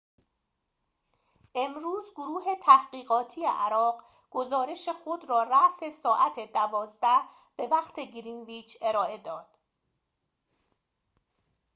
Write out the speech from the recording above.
امروز گروه تحقیقاتی عراق گزارش خود را رأس ساعت ۱۲:۰۰ به وقت گرینویچ ارائه داد